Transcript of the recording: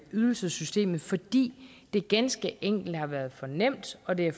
ydelsessystemet fordi det ganske enkelt har været for nemt og det